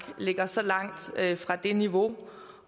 ligger så langt fra det niveau